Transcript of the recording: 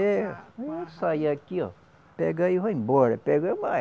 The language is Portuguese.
É, eu saio aqui ó, pego aí e vai embora.